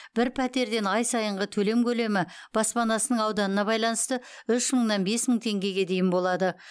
бір пәтерден ай сайынғы төлем көлемі баспанасының ауданына байланысты үш мыңнан бес мың теңгеге дейін болады